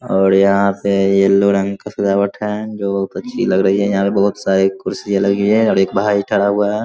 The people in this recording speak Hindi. और यहाँ से येल्लो रंग का सजावट है जो बहुत अच्छी है। यहाँ पे बोहोत सारी कुर्सी है लगी हुई है और एक बहार ही खड़ा हुआ है।